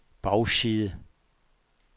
bagside